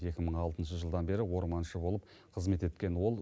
екі мың алтыншы жылдан бері орманшы болып қызмет еткен ол